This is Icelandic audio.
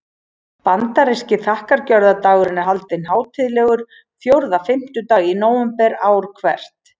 Bandaríski þakkargjörðardagurinn er haldinn hátíðlegur fjórða fimmtudag í nóvember ár hvert.